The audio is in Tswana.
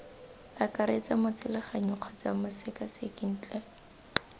akaretsa motseleganyi kgotsa mosekaseki ntle